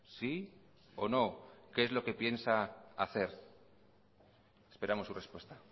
sí o no qué es lo que piensa hacer esperamos su respuesta